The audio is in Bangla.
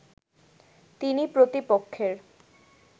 তিনি প্রতিপক্ষের